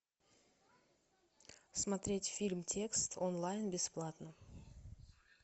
смотреть фильм текст онлайн бесплатно